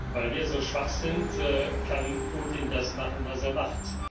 Weil wir so schwach sind, kann Putin das machen, was er macht.